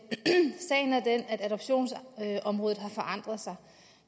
sagen er den at adoptionsområdet har forandret sig